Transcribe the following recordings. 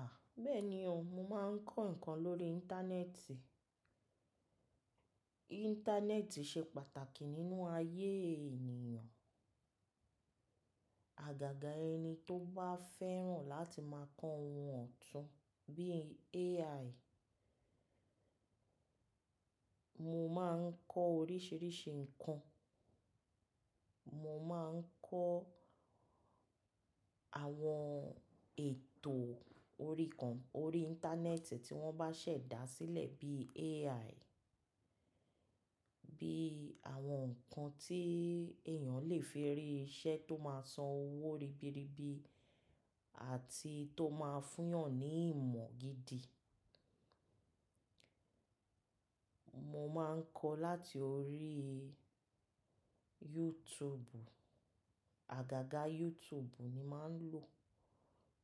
À, bẹ́ẹ̀ni o, mo máa ń kọ́ nǹkan lórí. Íńtánẹ́ẹ̀tì. Íńtánẹ́ẹ̀tì ṣe pàtàkì nínú ayé ènìyàn. Àgàgà ẹni tó bá fẹ́ràn láti máa kọ́ ohun ọ̀tún bíi AI. Mo máa ń kọ́ oríṣìíríṣìí nǹkan. Mo máa ń kọ́ àwọn ètò orí kan, orí íńtánẹ́ẹ̀tì tí wọ́n bá ṣẹ̀ dá sílẹ̀ bí AI. Bí àwọn nǹkan tí èèyàn lè fi rí iṣẹ́ tó máa san owó ribiribi àti tó máa fún yàn ní ìmọ̀ gidi. Mo máa ń kọ́ láti orí YouTube. Àgàgà YouTube ni màá ń lò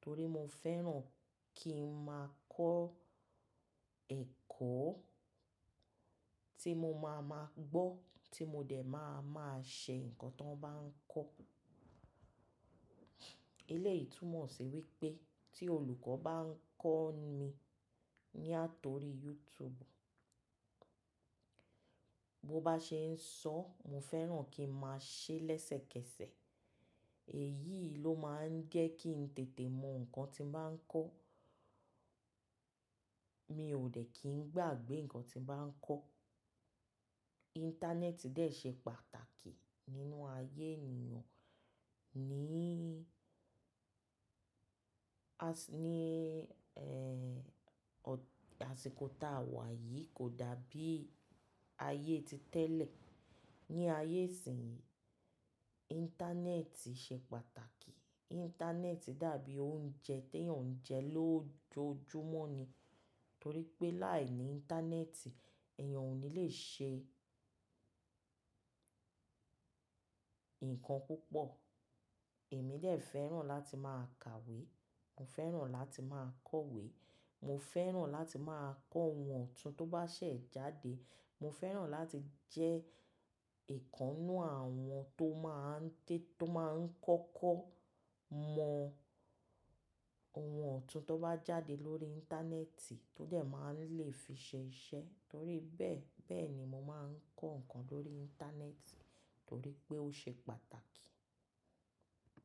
torí mo fẹ́ràn kí n máa kọ́ ẹ̀kọ́ tí mo máa ma gbọ́ tí mo dẹ̀ máa máa ṣe nǹkan tó bá ń kọ́. Eléyì tún mo sì wípé tíì olùkọ́ bà ń kọ́ nì láti orí youtube bó bá ṣe ń sọ, mo fẹ́ràn kí n mà ṣe leseké. Èyí ló máa ń jẹ́ kí n tètè mọ nǹkan tí ń bá ń kọ́. Mi ò dẹ̀ kí n gbàgbé nǹkan tí ń bá ń kọ́. Íńtánẹ́ẹ̀tì dẹ̀ ṣe pátàtákì nínú aiyé ènìyàn às ní, ẹ́, ọ̀, àsìkò táa wà yìí kò dàbí ayé ti tẹ́lẹ̀. Ni ayé ìsìnyí íńtánẹ́ẹ̀tì ṣe pàtàkì. Íńtánẹ́ẹ̀tì dàbí oúnjẹ tí èèyàn ń jẹ lójoojúmọ́ ni. Torí pé láìní íńtánẹ́ẹ̀tì èèyàn ò ní lè ṣe nǹkan púpọ̀. Èmi lè fẹ́ràn láti máa kàwé, mo fẹ́ràn láti máa kọ̀wé, mo fẹ́ràn láti máa kọ́ ohun ọ̀tún tó bá ṣẹ̀ jáde. Mo fẹ́ràn láti jẹ́ ìkannú àwọn tó máa ń dé, tó máa ń kọ́kọ́ mọ ohun ọ̀tún tó bá jáde lórí íńtánẹ́ẹ̀tì tó dẹ̀ máa ń lè fi ṣe iṣẹ́. Torí bẹ́ẹ̀, bẹ́ẹ̀ ni mo máa ń kọ́ nǹkan lórí íńtánẹ́ẹ̀tì torí pé ó ṣe pàtàkì.